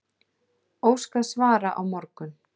Óskað svara á morgun